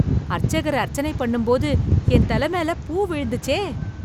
அர்ச்சகர் அர்ச்சனை பண்ணும் போது என் தலை மேல பூ விழுந்துச்சே!